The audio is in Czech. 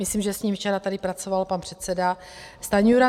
Myslím, že s ním včera tady pracoval pan předseda Stanjura.